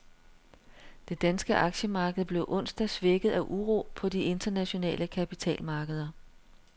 Det danske aktiemarked blev onsdag svækket af uro på de internationale kapitalmarkeder.